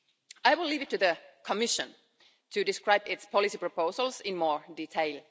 I will leave it to the Commission to describe its policy proposals in more detail.